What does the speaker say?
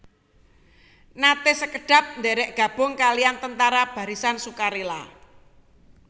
Naté sekedhap ndhèrèk gabung kalihan Tentara Barisan Sukarela